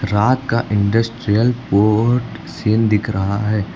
रात का industrial port scene दिख रहा है।